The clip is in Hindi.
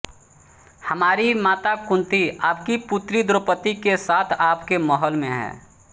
हमारी माता कुन्ती आपकी पुत्री द्रौपदी के साथ आपके महल में हैं